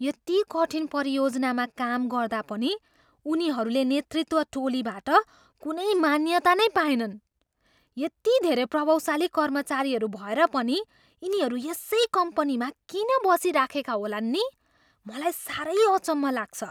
यति कठिन परियोजनामा काम गर्दा पनि उनीहरूले नेतृत्व टोलीबाट कुनै मान्यता नै पाएनन्। यति धेरै प्रतिभाशाली कर्मचारीहरू भएर पनि यिनीहरू यसै कम्पनीमा किन बरिसराखेका होलान् नि? मलाई साह्रै अचम्म लाग्छ।